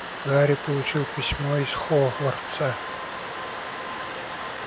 гарри получил письмо из хогвартса